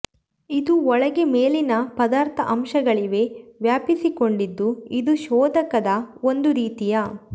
ಇದು ಒಳಗೆ ಮೇಲಿನ ಪದಾರ್ಥ ಅಂಶಗಳಿವೆ ವ್ಯಾಪಿಸಿಕೊಂಡಿದ್ದು ಇದು ಶೋಧಕದ ಒಂದು ರೀತಿಯ